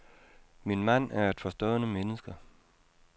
Min mand er et forstående menneske.